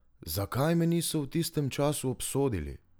Zakaj me niso v tistem času obsodili?